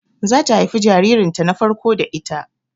Zata haifi jaririn ta na farko da ita